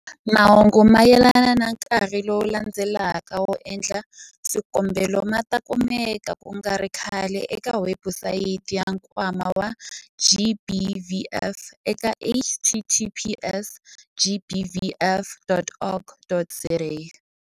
Mahungu mayelana na nkarhi lowu landzelaka wo endla swikombelo ma ta kumeka ku nga ri khale eka webusayiti ya Nkwama wa GBVF eka- https gbvf.org.za.